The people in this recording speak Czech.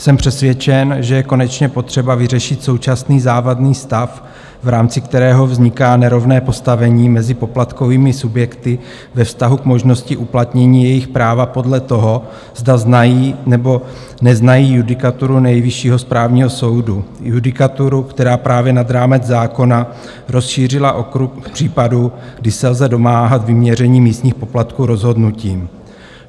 Jsem přesvědčen, že je konečně potřeba vyřešit současný závadný stav, v rámci kterého vzniká nerovné postavení mezi poplatkovými subjekty ve vztahu k možnosti uplatnění jejich práva podle toho, zda znají, nebo neznají judikaturu Nejvyššího správního soudu, judikaturu, která právě nad rámec zákona rozšířila okruh případů, kdy se lze domáhat vyměření místních poplatků rozhodnutím.